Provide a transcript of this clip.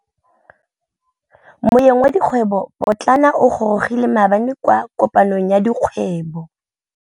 Moêng wa dikgwêbô pôtlana o gorogile maabane kwa kopanong ya dikgwêbô.